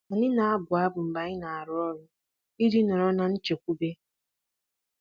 Anyị na-abụ abụ mgbe anyị na-arụ ọrụ iji nọrọ na nchekwube.